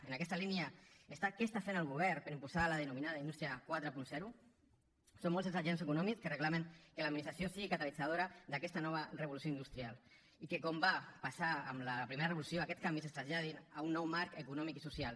en aquesta línia què està fent el govern per impulsar la denominada indústria quaranta són molts els agents econòmics que reclamen que l’administració sigui catalitzadora d’aquesta nova revolució industrial i que com va passar amb la primera revolució aquests canvis es traslladin a un nou marc econòmic i social